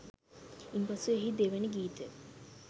ඉන්පසු එහි දෙවැනි ගීතය